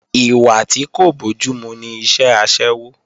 Ìwà tí kò bójúmu ni iṣẹ́ aṣẹ́wó